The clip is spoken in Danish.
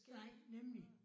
Nej nemlig